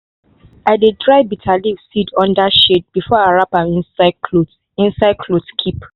i dey dry bitterleaf seed under shade before i wrap am inside cloth inside cloth keep.